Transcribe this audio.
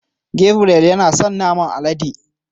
Gabriel yana son naman alade.